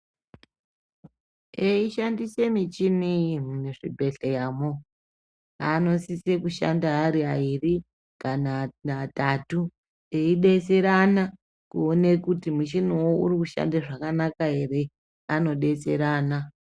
Ei shandise michini iyi muzvi bhedhleyamwo anosise kushanda ari airi kana atatu, ei detserana kuone kuti muchiniwo uri kushanda zvakanaka ere ano detserana.